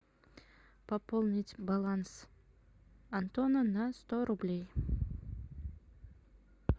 пополнить баланс антона на сто рублей